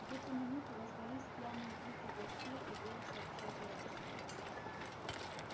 в эту минуту раздались пьяные крики гостей и голос отца герасима